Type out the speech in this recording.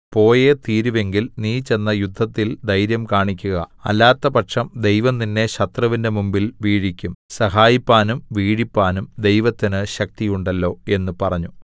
പോയേ തീരുവെങ്കിൽ നീ ചെന്ന് യുദ്ധത്തിൽ ധൈര്യം കാണിക്കുക അല്ലാത്തപക്ഷം ദൈവം നിന്നെ ശത്രുവിന്റെ മുമ്പിൽ വീഴിക്കും സഹായിപ്പാനും വീഴിപ്പാനും ദൈവത്തിന് ശക്തിയുണ്ടല്ലോ എന്ന് പറഞ്ഞു